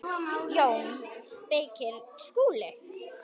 JÓN BEYKIR: Skúli?